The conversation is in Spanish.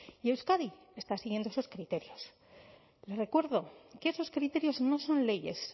y euskadi está siguiendo esos criterios le recuerdo que esos criterios no son leyes